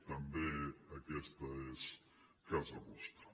també aquesta és casa vostra